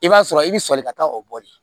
I b'a sɔrɔ i bɛ sɔli ka taa o bɔli